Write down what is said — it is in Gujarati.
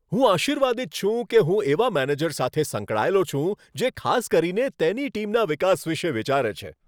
હું આશીર્વાદિત છું કે હું એવા મેનેજર સાથે સંકળાયેલો છું, જે ખાસ કરીને તેની ટીમના વિકાસ વિશે વિચારે છે.